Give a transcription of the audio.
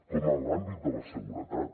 com en l’àmbit de la seguretat